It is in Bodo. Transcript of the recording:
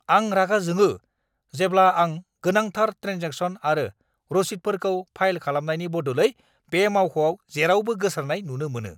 आं रागा जोङो जेब्ला आं गोनांथार ट्रेन्जेकशन आरो रसिदफोरखौ फाइल खालामनायनि बदलै बे मावख'आव जेरावबो गोसारनाय नुनो मोनो!